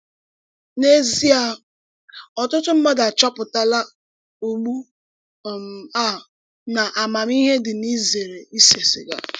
N’èzíè, ọ̀tùtù mmádụ àchọpụ̀tàlá ùgbú um à na àmámíhè dị n’ìzèrè ísè sìgà.